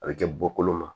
A bɛ kɛ bɔkolo ma